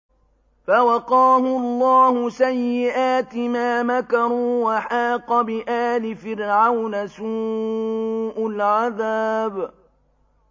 فَوَقَاهُ اللَّهُ سَيِّئَاتِ مَا مَكَرُوا ۖ وَحَاقَ بِآلِ فِرْعَوْنَ سُوءُ الْعَذَابِ